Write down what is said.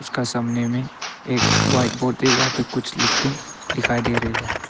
उसका सामने में एक व्हाइट बोर्ड वहां पे कुछ लिख के दिखाई दे रही है।